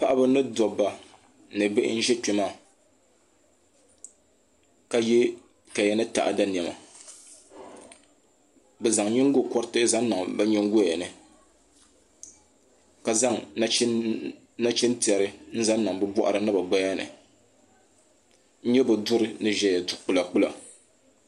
Paɣaba ni dobba ni bihi n ʒi kpe maa ka ye kaya ni taɣada niɛma bɛ zaŋ nyingo koriti zaŋ niŋ bɛ nyingoya ni ka zaŋ nachintɛri n zaŋ niŋ bɛ boɣari ni bɛ gbaya ni bɛ duri n zaya du'kpila kpila.